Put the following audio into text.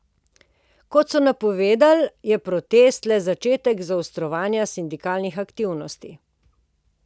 Kot so napovedali, je protest le začetek zaostrovanja sindikalnih aktivnosti.